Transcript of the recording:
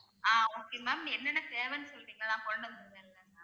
ஆஹ் okay ma'am என்னென்ன தேவைன்னு சொல்றீங்களா நான்